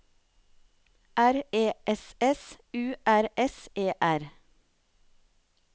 R E S S U R S E R